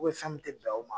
fɛn min tɛ bɛn o ma